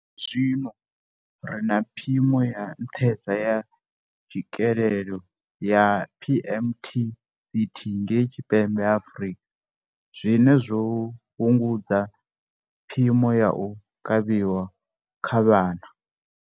Zwazwino ri na phimo ya nṱhesa ya tswikelelo ya PMTCT ngei Tshipembe ha Afrika, zwine zwo fhungudza phimo ya u kavhiwa kha vhana.